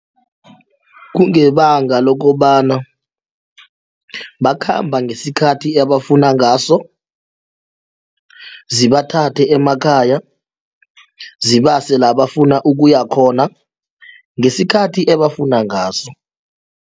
Kungebanga lokobana bakhamba ngesikhathi abafuna ngaso zibathathe emakhaya zibase la bafuna ukuya khona ngesikhathi ebafuna ngaso.